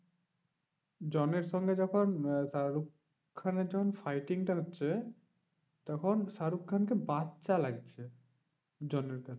জনের সঙ্গে যখন আহ শাহরুখ খানের যখন fighting টা লাগছে, তখন শাহরুখ খানকে বাচ্চা লাগছে জনের কাছে।